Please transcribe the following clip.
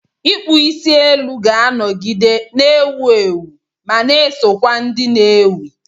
Ịkpụ isi elu ga-anọgide na-ewu ewu, ma na-eso kwa ndị na-ewi.